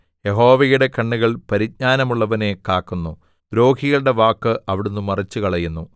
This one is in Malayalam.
യഹോവയുടെ കണ്ണുകൾ പരിജ്ഞാനമുള്ളവനെ കാക്കുന്നു ദ്രോഹികളുടെ വാക്ക് അവിടുന്ന് മറിച്ചുകളയുന്നു